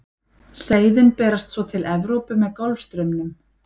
Seiðin berast svo til Evrópu með Golfstraumnum.